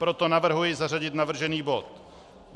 Proto navrhuji zařadit navržený bod.